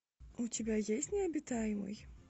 у тебя есть необитаемый